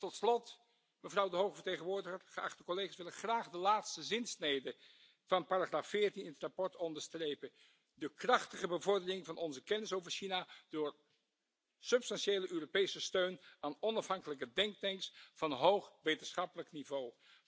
Tot slot, mevrouw de hoge vertegenwoordiger, geachte collega's, wil ik graag de laatste zinsnede van paragraaf 14 in het verslag onderstrepen de krachtige bevordering van onze kennis over China door substantiële Europese steun aan onafhankelijke denktanks van hoog wetenschappelijk niveau!